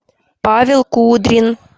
павел кудрин